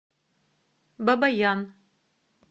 бабаян